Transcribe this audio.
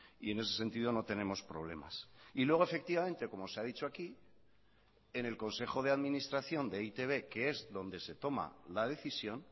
y en ese sentido no tenemos problemas y luego efectivamente como se ha dicho aquí en el consejo de administración de e i te be que es donde se toma la decisión